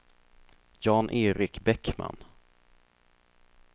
Jan-Erik Bäckman